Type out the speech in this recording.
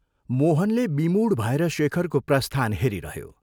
मोहनले विमूढ भएर शेखरको प्रस्थान हेरिरह्यो।